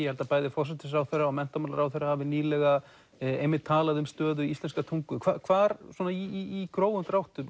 held að bæði forsætisráðherra og menntamálaráðherra hafi nýlega einmitt talað um stöðu íslenskrar tungu hvar í grófum dráttum